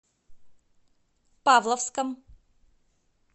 павловском